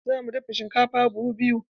Za mu dafa shinkafa buhu biyu.